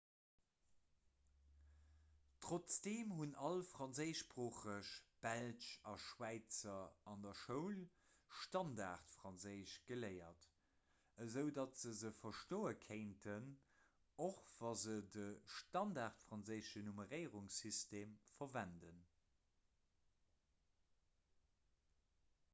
trotzdeem hunn all franséischsproocheg belsch a schwäizer an der schoul standardfranséisch geléiert esou datt se se verstoe kéinten och wa se de standardfranséischen nummeréierungssytem verwenden